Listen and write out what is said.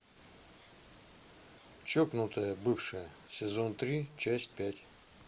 чокнутая бывшая сезон три часть пять